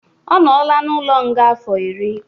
Ọ nola n'ụlo nga afọ ịrị